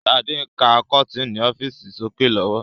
Sade ń ka kọ́tinni ọ́fíìsì sókè lọ́wọ́